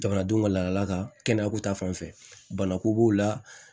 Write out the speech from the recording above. Jamanadenw ka laadala ka kɛnɛya ko ta fanfɛ bana ko b'u la